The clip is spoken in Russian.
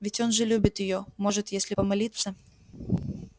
ведь он же любит её может если помолиться